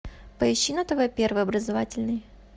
поищи на тв первый образовательный